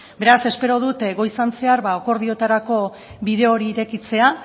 beraz espero dut goizean zehar akordioetarako bide hori irekitzea